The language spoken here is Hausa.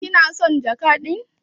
kina son jaka din?